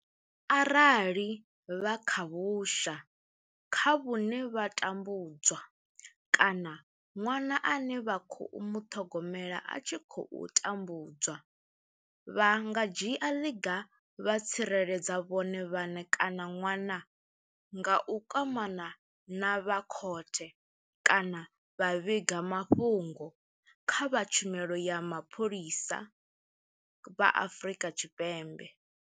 Arali vha kha vhusha kha vhune vha tambu dzwa kana ṅwana ane vha khou muṱhogomela a tshi khou tambudzwa, vha nga dzhia ḽiga vha tsireledza vhone vhaṋe kana ṅwana nga u kwamana na vha khothe kana vha vhiga mafhungo kha vha Tshumelo ya Mapholisa vha Afrika Tshipembe.